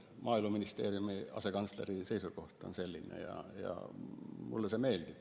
Maaeluministeeriumi asekantsleri seisukoht on selline, nagu ma ütlesin, ja mulle see meeldib.